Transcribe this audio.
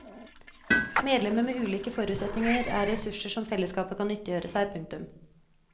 Medlemmer med ulike forutsetninger er ressurser som fellesskapet kan nyttiggjøre seg. punktum